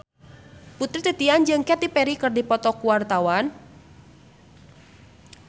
Putri Titian jeung Katy Perry keur dipoto ku wartawan